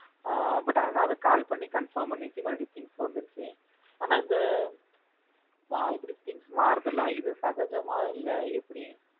அஹ் But அதான் அது call பண்ணி confirm பண்ணிட்டு மறுபடியும் things வந்துருச்சு ஆனா இந்த இப்படி things மாறுது இல்ல இத சகஜமா இல்ல எப்படி?